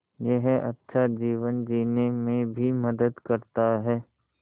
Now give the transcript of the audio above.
यह अच्छा जीवन जीने में भी मदद करता है